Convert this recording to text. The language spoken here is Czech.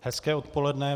Hezké odpoledne.